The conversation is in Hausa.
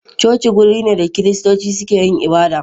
coci wuri ne da kiristoci suke yin ibada..